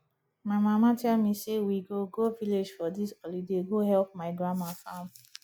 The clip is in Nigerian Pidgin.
my mama tell me say we go go village for dis holiday go help my grandma farm